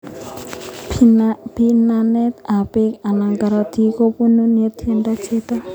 Pimanet ak peek anan karatik ko poru ne tindoi chito.